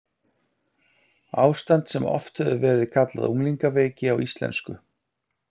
Ástand sem oft hefur verið kallað unglingaveiki á íslensku.